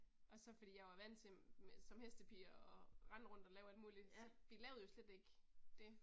Og så fordi jeg var vant til som hestepige og rende rundt og lave alt muligt, så vi lavede jo slet ikke det